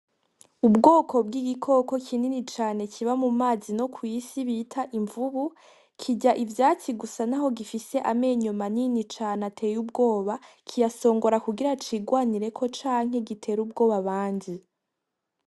Ubwoko bw'igikoko kinini cane kiba mumazi no kwisi bita imvubu, kirya ivyatsi gusa naho gifise amenyo manini cane ateye ubwoba kiyasongora kugira cigwanireko canke gitere ubwoba abandi.